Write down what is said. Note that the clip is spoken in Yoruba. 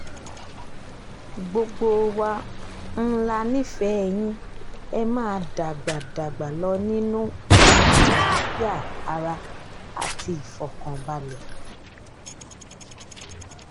gbogbo wa um la nífẹ̀ẹ́ yìn ẹ́ máa dàgbà dàgbà lọ nínú um àlàáfíà ara àti ìfọ̀kànbalẹ̀